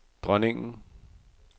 dronningen